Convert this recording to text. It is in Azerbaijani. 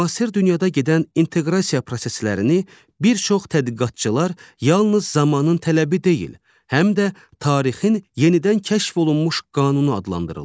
Müasir dünyada gedən inteqrasiya proseslərini bir çox tədqiqatçılar yalnız zamanın tələbi deyil, həm də tarixin yenidən kəşf olunmuş qanunu adlandırırlar.